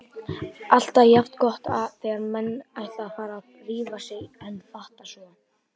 Alltaf jafn gott þegar menn ætla að fara að rífa sig en fatta svo